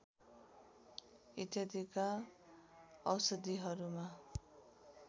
इत्यादिका औषधिहरूमा